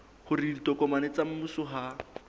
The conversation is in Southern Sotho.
hore ditokomane tsa mmuso ha